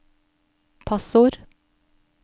passord